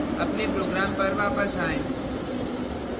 अपने program पर वापस आएँ